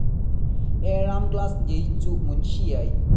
എഴാം class ജയിച്ചു മുൻഷിയായി.